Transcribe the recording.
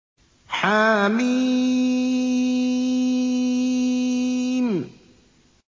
حم